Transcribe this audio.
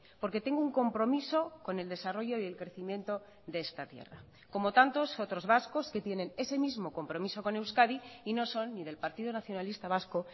porque tengo un compromiso con el desarrollo y el crecimiento de esta tierra como tantos otros vascos que tienen ese mismo compromiso con euskadi y no son ni del partido nacionalista vasco